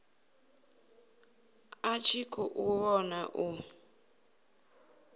a tshi khou vhona u